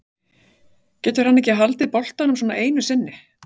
Getur hann ekki haldið boltanum svona einu sinni?